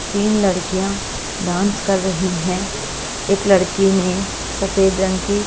तीन लड़कियां डांस कर रही हैं एक लड़की ने सफेद रंग की--